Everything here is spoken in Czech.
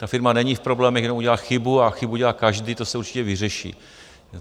Ta firma není v problémech, jenom udělá chybu, a chybu dělá každý, to se určitě vyřeší.